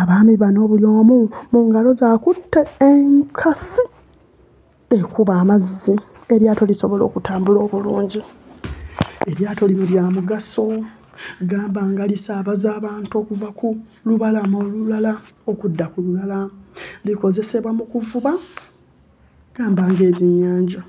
Abaami bano buli omu mu ngalo ze akutte enkasi ekuba amazzi eryato lisobole okutambula obulungi. Eryato lino lya mugaso gamba nga lisaabaza abantu okuva ku lubalama olulala okudda ku lulala. Likozesebwa mu kuvuba gamba ng'ebyennyanja.